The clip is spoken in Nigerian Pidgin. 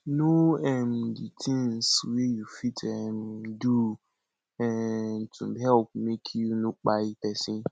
know um di things wey you fit um do um to help make you no kpai person